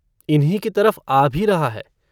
इन्हीं की तरफ आ भी रहा है।